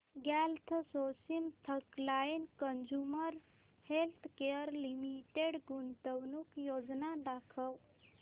GlaxoSmithKline Consumer Healthcare Limited गुंतवणूक योजना दाखव